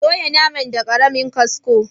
Soya naman da karemin kasko.